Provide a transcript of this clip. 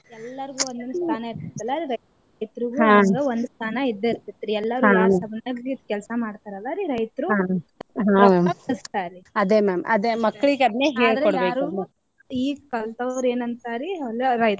ಎಲ್ಲಾರಿಗೂ ಒಂದೊಂದ ಸ್ಥಾನಾ ಈಗ ಕಲ್ತವ್ರ ಏನ ಅಂತಾರಿ .